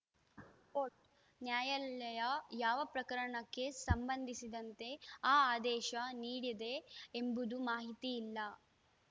coat ನ್ಯಾಯಾಲಯ ಯಾವ ಪ್ರಕರಣಕ್ಕೆ ಸಂಬಂಧಿಸಿದಂತೆ ಈ ಆದೇಶ ನೀಡಿದೆ ಎಂಬುದು ಮಾಹಿತಿ ಇಲ್ಲ